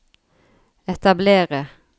etablere